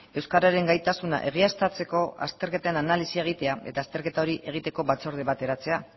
euskararen gaitasuna egiaztatzeko azterketen analisia egitea eta azterketa hori egiteko batzorde bat eratzea